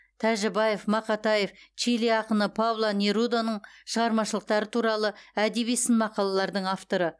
тәжібаев мақатаев чили ақыны пабло неруданың шығармашылықтары туралы әдеби сын мақалалардың авторы